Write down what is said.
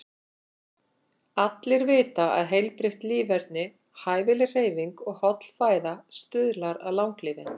Allir vita að heilbrigt líferni, hæfileg hreyfing og holl fæða stuðlar að langlífi.